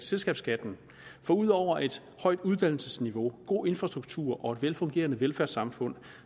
selskabsskatten for ud over et højt uddannelsesniveau god infrastruktur og et velfungerende velfærdssamfund